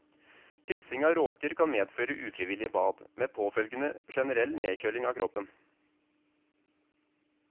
Kryssing av råker kan medføre ufrivillige bad, med påfølgende generell nedkjøling av kroppen.